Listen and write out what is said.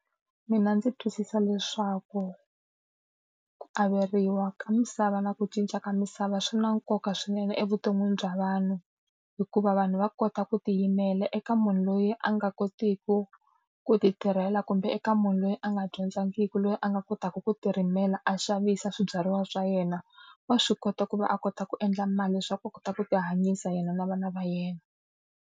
Mina ndzi twisisa leswaku ku averiwa ka misava na ku cinca ka misava swi na nkoka swinene evuton'wini bya vanhu, hikuva vanhu va kota ku tiyimela eka munhu loyi a nga kotiku ku ti tirhela kumbe eka munhu loyi a nga dyondzakiki, loyi a nga kotaka ku ti rimela a xavisa swibyariwa swa yena. Wa swi kota ku va a kota ku endla mali leswaku a kota ku tihanyisa yena na vana va yena.